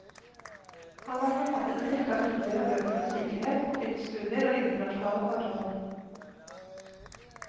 Han har forfattet en rekke artikler og bøker om sikkerhet, konfliktstudier og internasjonale forhold.